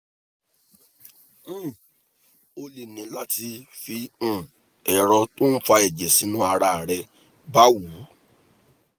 um o lè ní láti fi um ẹ̀rọ tó ń fa ẹ̀jẹ̀ sínú ara rẹ bá wú